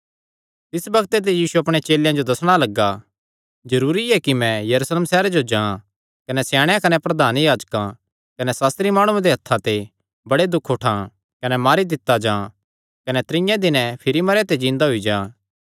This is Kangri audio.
तिस बग्ते ते यीशु अपणे चेलेयां जो दस्सणा लग्गा जरूरी ऐ कि मैं यरूशलेम सैहरे जो जां कने स्याणेयां कने प्रधान याजकां कने सास्त्री माणुआं दे हत्थां ते बड़े दुख उठां कने मारी दित्ता जां कने त्रीये दिने जिन्दा होई जां